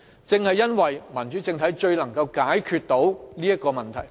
正因為民主政體最能正中要害，解決上述問題。